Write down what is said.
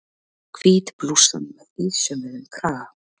Hvít blússan með ísaumuðum kraga.